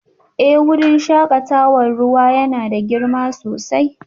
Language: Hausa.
Eh wurin shakatawar ruwa yana da girma sosai